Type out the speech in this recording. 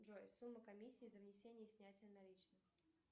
джой сумма комиссии за внесение и снятие наличных